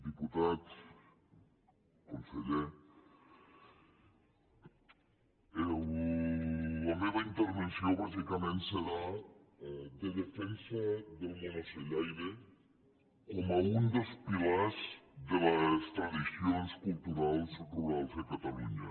diputats conseller la meva intervenció bàsicament serà de defensa del món ocellaire com un dels pilars de les tradicions culturals rurals a catalunya